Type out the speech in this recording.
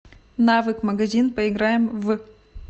навык магазин поиграем в